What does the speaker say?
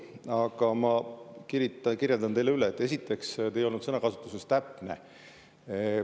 Aga ma, et te ei olnud sõnakasutuses täpne.